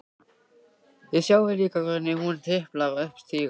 Þið sjáið líka hvernig hún tiplar upp stiga.